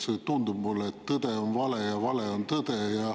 Mulle tundub, et tõde on vale ja vale on tõde.